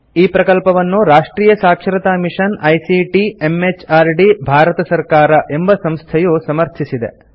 ಈ ಪ್ರಕಲ್ಪವನ್ನು ರಾಷ್ಟ್ರಿಯ ಸಾಕ್ಷರತಾ ಮಿಷನ್ ಐಸಿಟಿ ಎಂಎಚಆರ್ಡಿ ಭಾರತ ಸರ್ಕಾರ ಎಂಬ ಸಂಸ್ಥೆಯು ಸಮರ್ಥಿಸಿದೆ